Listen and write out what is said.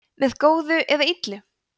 með góðu eða illu